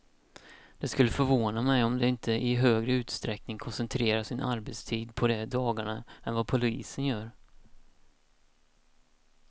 Det skulle förvåna mig om de inte i högre utsträckning koncentrerar sin arbetstid på de dagarna än vad polisen gör.